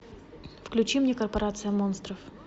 включи мне корпорация монстров